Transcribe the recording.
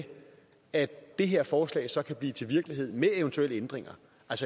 at det her forslag så kan blive til virkelighed med eventuelle ændringer